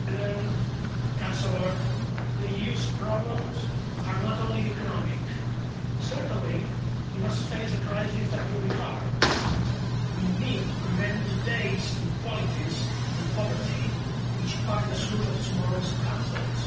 Mr President, Chancellor, the EU's problems are not only economic. Certainly, you must face a crisis that will be hard. We need to prevent today's inequalities and poverty, which are the sources of tomorrow's conflicts.